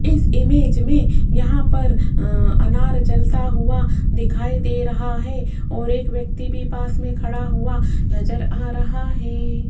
इस इमेज में यहां पर अनार जलता हुआ दिखाई दे रहा है और एक व्यक्ति भी पास में खड़ा हुआ नजर आ रहा है।